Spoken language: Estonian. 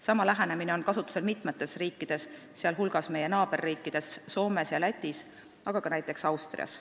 Sama lähenemine on kasutusel mitmes riigis, sh meie naaberriikides Soomes ja Lätis, aga ka näiteks Austrias.